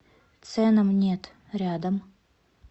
ценам нет рядом